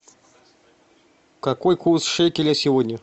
какой курс шекеля сегодня